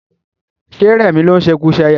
Ṣé rẹmi ló ń ṣekuṣẹyẹ?